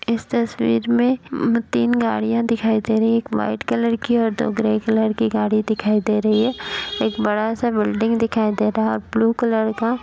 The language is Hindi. इस तस्वीर में तीन गाड़ियां दिखाई दे रही हैं एक वाइट कलर की और दो ग्रे कलर की गाड़ी दिखाई दे रही है। एक बड़ा-सा बिल्डिंग दिखाई दे रहा है ब्लू कलर का।